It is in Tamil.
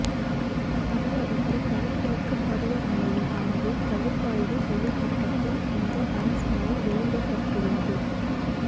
தமிழகத்தின் வடகிழக்குப் பருவமழையின் அளவு பகுப்பாய்வு செய்யப்பட்டபின் இந்த அரசாணை வெளியிடப்பட்டுள்ளது